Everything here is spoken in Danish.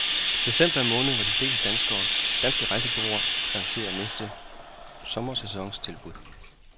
December er måneden, hvor de fleste danske rejsebureauer lancerer næste sommersæsons tilbud.